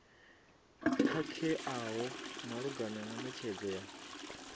khakheaho malugana na netshedzo ya